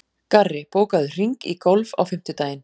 Garri, bókaðu hring í golf á fimmtudaginn.